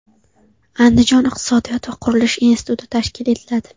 Andijon iqtisodiyot va qurilish instituti tashkil etiladi.